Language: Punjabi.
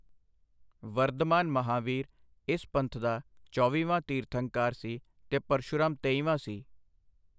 ਵਰਧਮਾਨ ਮਹਾਂਵੀਰ ਇਸ ਪੰਥ ਦਾ ਚੌਵੀਵਾਂ ਤੀਰਥੰਕਾਰ ਸੀ ਤੇ ਪਰਸ਼ੁਰਾਮ ਤੇਈਵਾਂ ਸੀ।